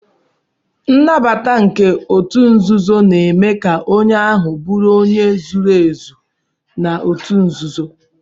Nnabata nke otu nzuzo na eme ka onye ahu buru onye zuru ezu na otu nzuzo.